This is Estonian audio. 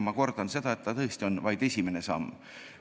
Ma kordan, et see on tõesti vaid esimene samm.